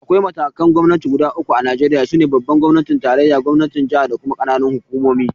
Akwai matakan Gwamnati guda uku a Najeriya, su ne Babban gwamnatin tarayya, Gwamnatin jaha da W ƙananan hukumomi